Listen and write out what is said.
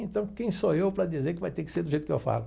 Então quem sou eu para dizer que vai ter que ser do jeito que eu falo?